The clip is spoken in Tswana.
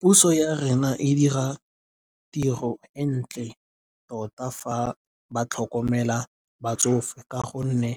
Puso ya rona e dira tiro e ntle tota fa ba tlhokomela batsofe ka gonne